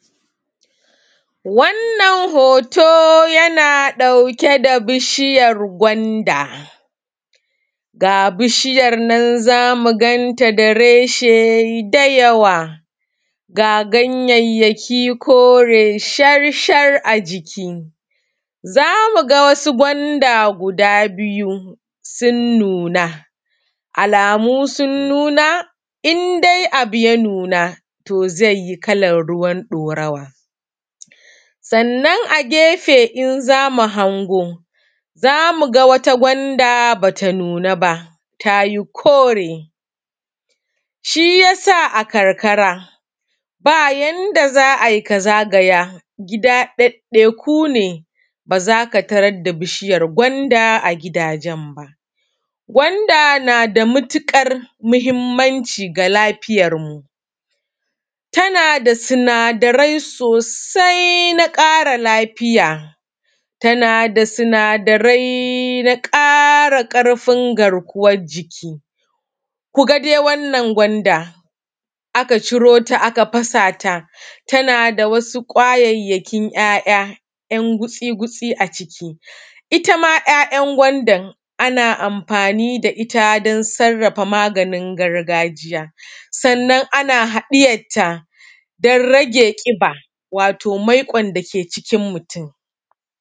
Wannan hooto yana ɗauke da bishiyar gwanda ga bishiyar nan zamu ganta da reshe dayawa, ga ganyayyaki kore shar a jiki. Za mu ga wasu gwanda guda biyu sun nuna, alamu sun nuna in dai abu ya nuna to zai yi kalar ruwan ɗorawa, sannan agefe in zamu hango zamu ga wata gwanda bata nuna ba ta yi kore shiyasa a karkara baa yanda za a yi ka zagaya gida ɗaɗɗaiku ne ba za ka taradda bishiyar gwanda a gidajen baa. gwanda naa da matuƙar muhimmanci ga lafiyarmu tana da sinadarai soosai na ƙara lafiya tana da sinadarai na ƙara ƙarfin garkuwar jiki, ku ga dai wannan gwanda aka ciro ta aka fasaata tana da wasu ƙwayayyakin 'ya'ya 'yan gutsi-gutsi aciki, ita ma 'ya'yan gwandan ana amfaani da ita don sarrafa maganin gargajiya sannan ana haɗiyarta don rage ƙiba wato maiƙon dake cikin mutum